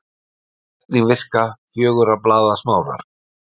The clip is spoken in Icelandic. Hvernig virka fjögurra blaða smárar?